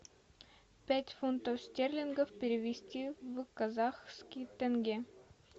пять фунтов стерлингов перевести в казахские тенге